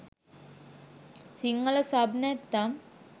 Sinhala sub නැත්නම්